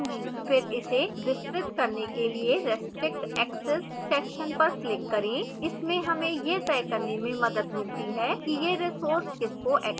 फिर इसे विस्तृत करने के लिए restrict access section पर click करें